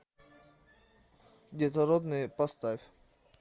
детородные поставь